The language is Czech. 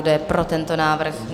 Kdo je pro tento návrh?